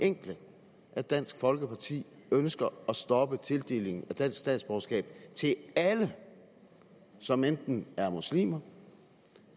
enkle at dansk folkeparti ønsker at stoppe tildelingen af dansk statsborgerskab til alle som enten er muslimer